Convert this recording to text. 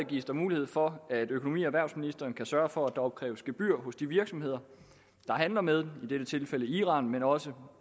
gives mulighed for at økonomi og erhvervsministeren kan sørge for at der opkræves gebyr hos de virksomheder der handler med i dette tilfælde iran men også